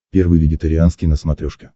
первый вегетарианский на смотрешке